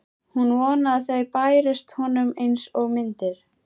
Hún vonaði að þau bærust honum einsog myndir.